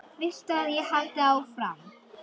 Viltu að ég haldi áfram?